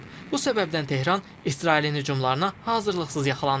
Bu səbəbdən Tehran İsrailin hücumlarına hazırlıqsız yaxalandı.